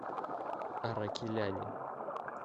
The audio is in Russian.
аракеляне